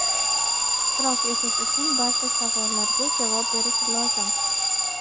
ishtirok etish uchun barcha savollarga javob berish lozim.